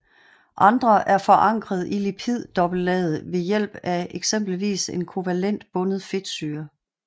Andre er forankret i lipiddobbeltlaget ved hjælp af eksempelvis en kovalent bundet fedtsyre